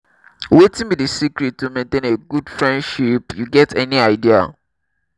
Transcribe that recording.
wetin be di secret to maintain a good friendship you get any idea?